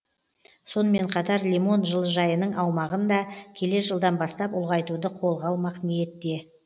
сонымен қатар лимон жылыжайының аумағын да келер жылдан бастап ұлғайтуды қолға алмақ ниетте